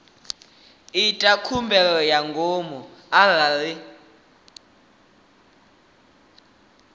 ita khumbelo ya ngomu arali